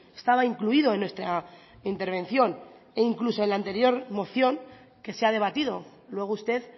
estaba incluido en nuestra intervención e incluso en la anterior moción que se ha debatido luego usted